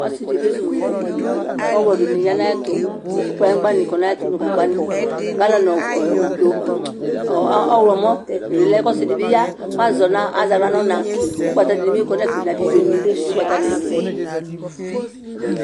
Ɔsidi kezu fufu ɔwlɔ dini yanʋ ayʋ ɛtʋ kʋ kplanyigba ni nʋ gagbani galɔni ɔwlɔmo dibi lɛ kʋ ɔsidi bi ya kʋ azɛ aɣla nʋ ɔna kʋ ʋgbata dini bi kɔnʋ ɛfɛbnʋ abidzo gbata ni